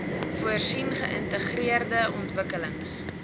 voorsien geïntegreerde ontwikkelings